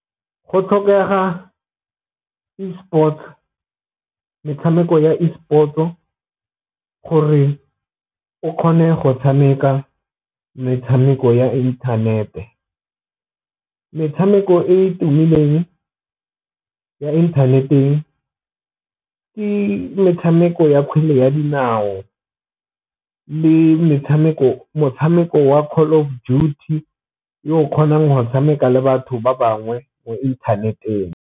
Go tlhokega esport metshameko ya esport-o gore o kgone go tshameka metshameko ya inthanete, metshameko e e tumileng ya inthaneteng ke metshameko ya kgwele ya dinao le motshameko wa Call of Duty yo o kgonang go tshameka le batho ba bangwe mo interneteng.